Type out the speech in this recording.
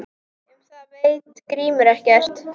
Um það veit Grímur ekkert.